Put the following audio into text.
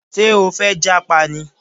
Ṣé o fẹ́ jápa ni?